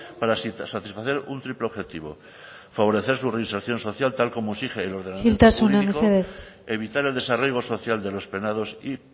para satisfacer un triple objetivo favorecer su reinserción social tal como exige el ordenamiento jurídico isiltasuna mesedez evitar el desarraigo social de los penados y